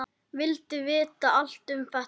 Vildi vita allt um alla.